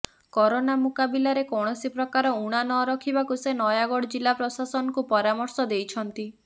corona ମୁକାବିଲାରେ କୌଣସି ପ୍ରକାର ଉଣା ନ ରଖିବାକୁ ସେ ନୟାଗଡ଼ ଜିଲ୍ଲା ପ୍ରଶାସନକୁ ପରାମର୍ଶ ଦେଇଛନ୍ତି